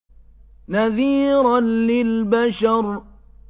نَذِيرًا لِّلْبَشَرِ